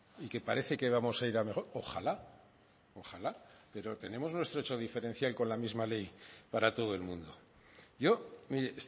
y que parece que vamos a ir a mejor ojalá ojalá pero tenemos nuestro hecho diferencial con la misma ley para todo el mundo yo mire